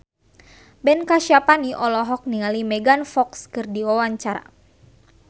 Ben Kasyafani olohok ningali Megan Fox keur diwawancara